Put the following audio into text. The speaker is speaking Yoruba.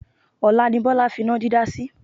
Ọ̀la ni Bọ́lá fi iná dídá sí.